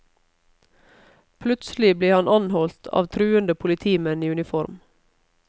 Plutselig ble han anholdt av truende politimenn i uniform.